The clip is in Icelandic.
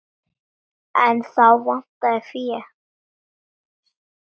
En þá vantaði fé.